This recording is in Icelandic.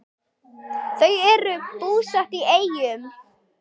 Þau eru búsett í Eyjum.